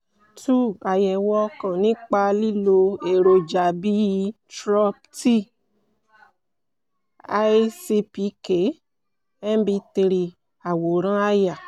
2) ạyẹ̀wò ọkàn nípa lílo èròjà bíi trop t / i cpk-mb3) àwòrán àyà